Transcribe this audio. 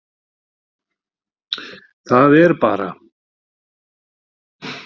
Það er bara.